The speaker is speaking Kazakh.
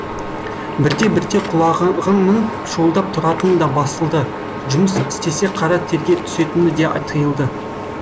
бірте бірте құлағының шуылдап тұратыны да басылды жұмыс істесе қара терге түсетіні де тыйылды